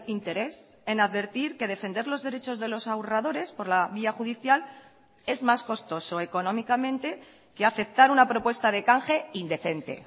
interés en advertir que defender los derechos de los ahorradores por la vía judicial es más costoso económicamente que aceptar una propuesta de canje indecente